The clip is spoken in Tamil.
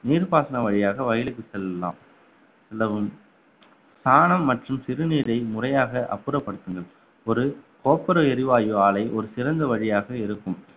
நீர்ப்பாசனம் வழியாக வயலுக்கு செல்லலாம் செல்லவும் சாணம் மற்றும் சிறுநீரை முறையாக அப்புறப்படுத்துங்கள் ஒரு கோப்புர எரிவாயு ஆலை ஒரு சிறந்த வழியாக இருக்கும்